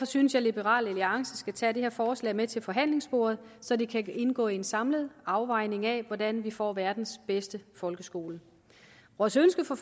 synes at liberal alliance skal tage det her forslag med til forhandlingsbordet så det kan indgå i en samlet afvejning af hvordan vi får verdens bedste folkeskole vores ønske for